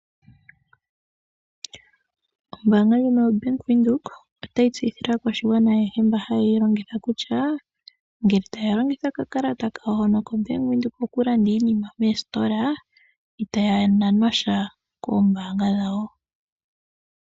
Ombaanga ndjika yoBank Windhoek itayi tseyithile aakwashigwana ayehe mboka haye yi longitha kutya ngele taya longitha okakalata kawo koBank Windhoek okulanda iinima moositola itaya nanwa sha koombaanga dhawo.